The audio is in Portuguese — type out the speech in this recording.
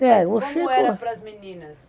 Mas como era para as meninas?